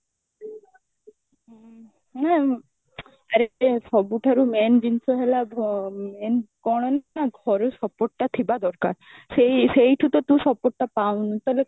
ହୁଁ ନା ଆରେ ସବୁଠାରୁ main ଜିନିଷ ହେଲା main କଣ ନା ଘରୁ support ଟା ଥିବା ଦରକାର ସେଇ ସେଇଠୁ ତ ତୁ support ଟା ପାଉନୁ ତାହେଲେ କଣ